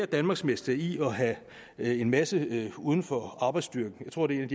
danmarksmester i at have en masse uden for arbejdsstyrken jeg tror det er en